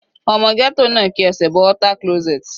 Ọmọ ghetto náà ki ẹsẹ̀ bọ water closet.